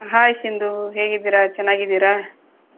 Hai Sindhu ಹೇಗಿದ್ದೀರಾ ಚೆನ್ನಾಗಿದ್ದೀರಾ?